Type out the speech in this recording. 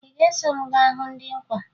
Ị ga-eso m gaa hụ ndị nkwa